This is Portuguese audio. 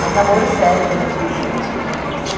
Mas namoro sério mesmo, eu tive com vinte e um anos só.